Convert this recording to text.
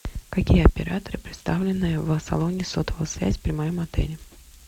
какие операторы представлены в салоне сотовой связи при моем отеле